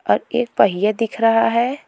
और एक पहिया दिख रहा है।